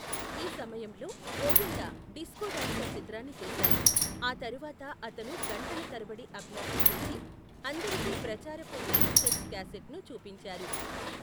ఈ సమయంలో, Govinda disco dancer చిత్రాన్ని చూశారు, ఆ తరువాత అతను గంటల తరబడి అభ్యాసం చేసి, అందరికి ప్రచారపు విహెచ్ఎస్ క్యాసెట్ను చూపించారు.